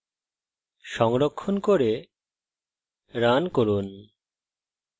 সংরক্ষণ করে run run